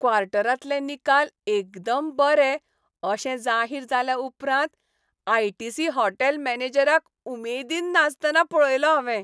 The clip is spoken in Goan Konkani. क्वॉर्टरांतलें निकाल एकदम बरे अशें जाहीर जाल्याउपरांत आय. टी. सी. हॉटेल मॅनेजराक उमेदीन नाचतना पळयलो हांवें.